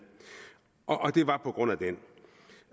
og det var på grund af den